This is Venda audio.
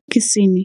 Thekhisini